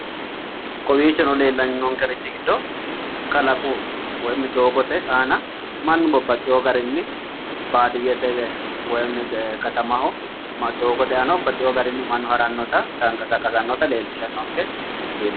Kowiichono leellannonkeri giddo kalaqu woyi doogote aana mannu babbaxxiwo garinni baadiyyete woyi katamaho doogote aana baxiwo garinni harannota tanqasaaqasannota leellishshannonke misileeti.